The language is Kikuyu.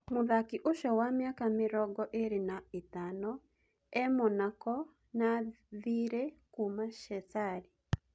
Mũthaki ũcio wa mĩaka mĩrongoĩrĩ na ĩtano e-Monako na thirĩ kuuma Shesali.